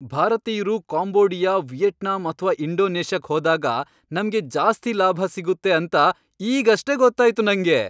ಭಾರತೀಯ್ರು Cambodia, Vietnam ಅಥ್ವಾ ಇಂಡೋನೇಷ್ಯಾಕ್ ಹೋದಾಗ ನಮ್ಗೆ ಜಾಸ್ತಿ ಲಾಭ ಸಿಗುತ್ತೆ ಅಂತ ಈಗಷ್ಟೇ ಗೊತ್ತಾಯ್ತು ನಂಗೆ!